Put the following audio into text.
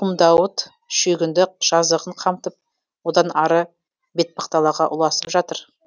құмдауыт шүйгінді жазығын қамтып одан ары бетпақдалаға ұласып жатыр